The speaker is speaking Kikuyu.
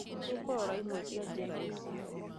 nĩtũkũrora imwe cia njĩra ici